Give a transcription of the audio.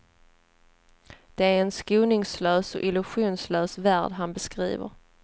Det är en skoningslös och illusionslös värld han beskriver.